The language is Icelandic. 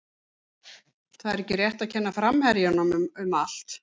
Það er ekki rétt að kenna framherjunum um allt.